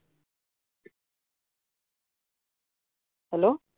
hello